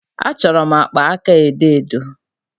Achọrọ m akpa aka edo edo.